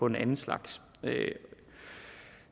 en anden slags